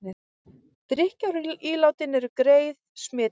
Drykkjarílátin eru greið smitleið